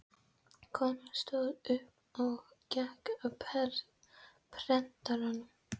Konan stóð upp og gekk að prentaranum.